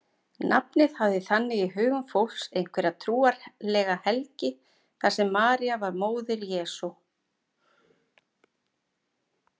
Nafnið hafði þannig í hugum fólks einhverja trúarlega helgi þar sem María var móðir Jesú.